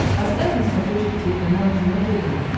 поставь на смотрешке телеканал кино тв